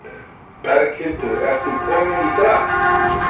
Berghildur, ertu ekki komin í drag?